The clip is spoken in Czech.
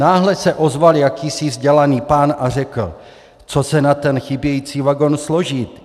Náhle se ozval jakýsi vzdělaný pán a řekl - co se na ten chybějící vagon složit?